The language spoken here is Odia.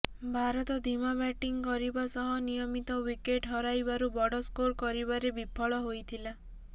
ଭାରତ ଧିମା ବ୍ୟାଟିଂ କରିବା ସହ ନିୟମିତ ୱିକେଟ୍ ହରାଇବାରୁ ବଡ଼ ସ୍କୋର କରିବାରେ ବିଫଳ ହୋଇଥିଲା